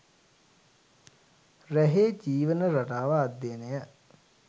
රැහේ ජීවන රටාව අධ්‍යයනය